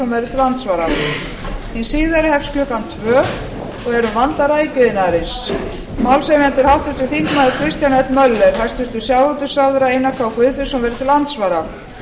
til andsvara hin síðari hefst klukkan tvö og er um vanda rækjuiðnaðarins málshefjandi er háttvirtur þingmaður kristján l möller hæstvirtur sjávarútvegsráðherra einar k guðfinnsson verður til andsvara